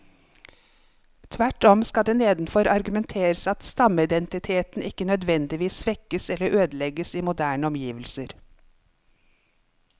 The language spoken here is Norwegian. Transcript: Tvert om skal det nedenfor argumenteres at stammeidentiteten ikke nødvendigvis svekkes eller ødelegges i moderne omgivelser.